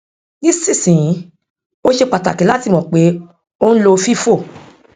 nísinsìnyí ó ṣe pàtàkì láti mọ pé o ń lo fifo